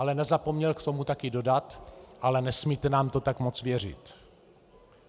Ale nezapomněl k tomu taky dodat: Ale nesmíte nám to tak moc věřit.